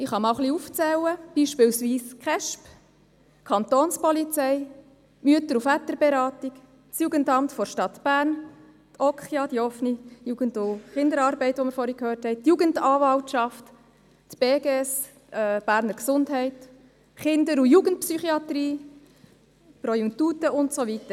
Ich zähle einige auf: die Kindes- und Erwachsenenschutzbehörde (Kesb), die Kantonspolizei, die Mütter- und Väterberatung, das Jugendamt der Stadt Bern, die Okja, die Jugendanwaltschaft, die Berner Gesundheit (Beges), die Kinder- und Jugendpsychiatrie, Pro Juventute und so weiter.